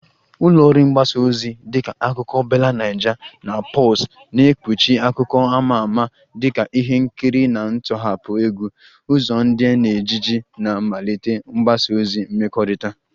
Ụlọ ọrụ mgbasa ozi dịka Akụkọ BellaNaija na Pulse na-ekpuchi akụkọ ama ama dịka ihe nkiri na ntọhapụ egwu, ụzọ ndụ na ejiji na mmelite mgbasa ozi mmekọrịta